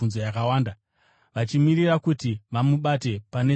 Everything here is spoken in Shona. vachimirira kuti vamubate pane zvaaizotaura.